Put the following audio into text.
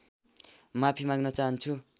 माफी माग्न चाहन्छु